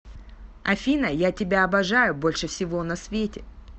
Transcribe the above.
афина я тебя обожаю больше всего на свете